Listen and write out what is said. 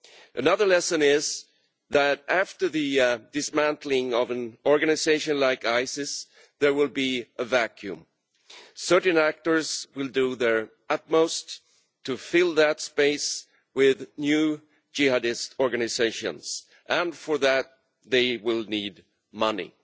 Another lesson is that, after the dismantling of an organisation like ISIS, there will be a vacuum. Certain actors will do their utmost to fill that space with new Jihadist organisations, and for that they will need money.